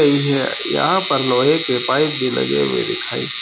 गई है यहां पर लोहे के पाइप भी लगे हुए दिखाई--